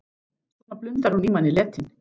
Svona blundar hún í manni letin.